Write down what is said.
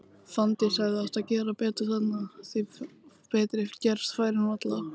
Fanndís hefði átt að gera betur þarna, því betri gerast færin varla.